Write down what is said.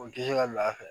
O tɛ se ka lafɛ